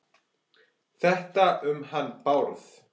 Þetta um hann Bárð?